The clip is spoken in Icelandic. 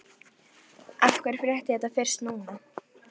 Af hverju frétti ég þetta fyrst núna?